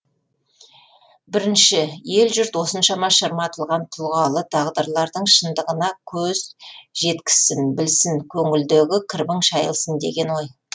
бірінші ел жұрт осыншама шырматылған тұлғалы тағдырлардың шындығына көз жет кізсін білсін көңілдегі кірбің шайылсын деген ой